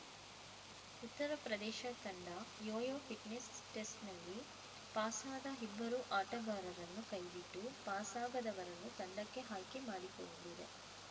ಉತ್ತರಪ್ರದೇಶ ತಂಡ yo yo fitness ಟೆಸ್ಟ್‌ನಲ್ಲಿ ಪಾಸಾದ ಇಬ್ಬರು ಆಟಗಾರರನ್ನು ಕೈಬಿಟ್ಟು ಪಾಸಾಗದವರನ್ನು ತಂಡಕ್ಕೆ ಆಯ್ಕೆ ಮಾಡಿಕೊಂಡಿದೆ